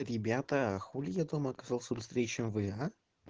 ребята хули я дома оказался быстрее чем вы а